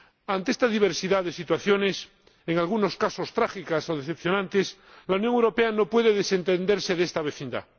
Ante esta diversidad de situaciones, en algunos casos trágicas o decepcionantes, la Unión Europea no puede desentenderse de esta vecindad.